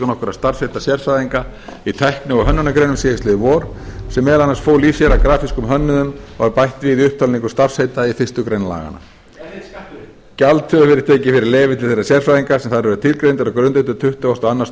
nokkurra starfsheita sérfræðinga í tækni og hönnunargreinum síðastliðið vor sem meðal annars fólu í sér að grafískum hönnuðum var bætt við í upptalningu starfsheita í fyrstu grein laganna gjald hefur verið tekið fyrir leyfi til þeirra sérfræðinga sem þar eru tilgreindir á grundvelli tuttugasta og